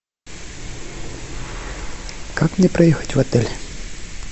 как мне проехать в отель